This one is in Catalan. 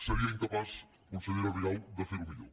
seria incapaç consellera rigau de fer ho millor